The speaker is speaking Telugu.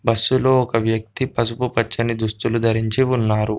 బస్సులో ఒక వ్యక్తి పసుపు పచ్చని దుస్తులు ధరించి ఉన్నారు.